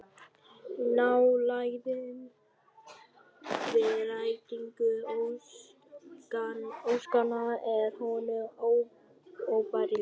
Nálægðin við rætingu óskanna er honum óbærileg